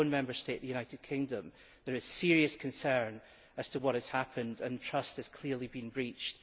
In my own Member State, the United Kingdom, there is serious concern about what has happened. Trust has clearly been breached.